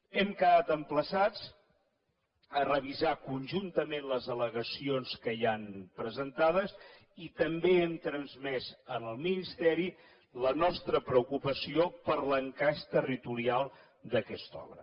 hem quedat emplaçats a revisar conjuntament les allegacions que hi han presentades i també hem transmès al ministeri la nostra preocupació per l’encaix territorial d’aquesta obra